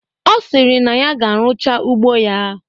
Ọ sịrị na ya ga-eruche ugbo ya